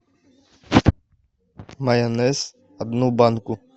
майонез одну банку